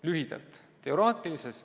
Lühidalt.